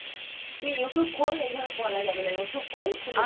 তুই Youtube খোল এভাবে বলা যাবে না, Youtube খোল খুলে দেখ